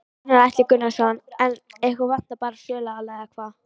Gunnar Atli Gunnarsson: En ykkur vantar bara söluaðila eða hvað?